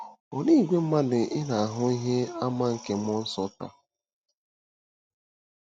Olee ìgwè mmadụ ị na-ahụ ihe àmà nke mmụọ nsọ taa?